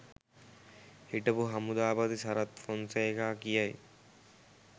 හිටපු හමුදාපති සරත් ෆොන්සේකා කියයි